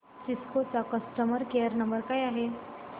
Cisco चा customer care number काय आहे